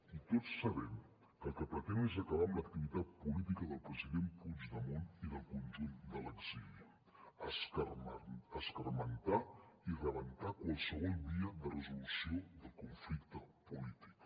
i tots sabem que el que pretén és acabar amb l’activitat política del president puigdemont i del conjunt de l’exili escarmentar i rebentar qualsevol via de resolució del conflicte polític